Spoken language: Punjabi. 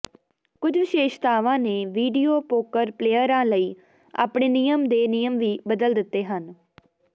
ਕੁਝ ਵਿਸ਼ੇਸ਼ਤਾਵਾਂ ਨੇ ਵੀਡੀਓ ਪੋਕਰ ਪਲੇਅਰਾਂ ਲਈ ਆਪਣੇ ਨਿਯਮ ਦੇ ਨਿਯਮ ਵੀ ਬਦਲ ਦਿੱਤੇ ਹਨ